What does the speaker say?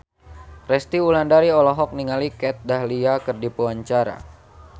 Resty Wulandari olohok ningali Kat Dahlia keur diwawancara